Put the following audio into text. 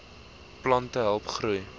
plante help groei